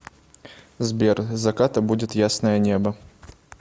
сбер заката будет ясное небо